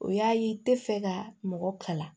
O y'a ye i tɛ fɛ ka mɔgɔ kalan